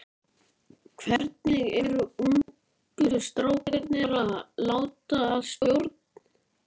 Hvernig eru ungu strákarnir að láta að stjórn?